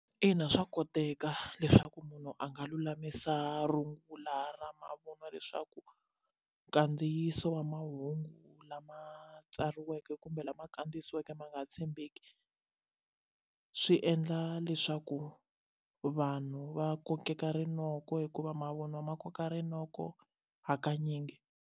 Ina, swa koteka leswaku munhu a nga lulamisa rungula ra mavun'wa leswaku nkandziyiso wa mahungu lama tsariweke kumbe lama kandziyisiweke ma nga tshembeki swi endla leswaku vanhu va kokeka rinoko hikuva mavunwa ma koka rinoko hakanyingi.